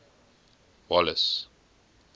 wallace